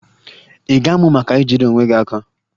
Ị ga-amụ maka ijide onwe gị aka?